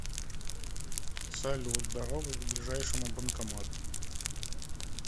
салют дорога к ближайшему банкомату